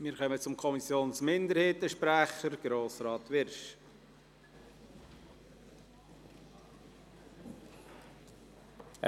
Wir kommen zum Sprecher der Kommissionsminderheit: Grossrat Wyrsch.